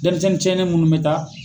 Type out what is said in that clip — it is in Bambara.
Dɛnmisɛnnin ciɲɛnen munnu be taa